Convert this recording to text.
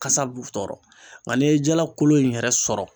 Kasa b'u tɔɔrɔ nka n'i ye jala kolo in yɛrɛ sɔrɔ.